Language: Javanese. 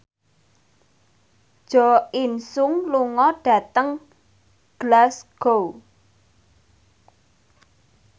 Jo In Sung lunga dhateng Glasgow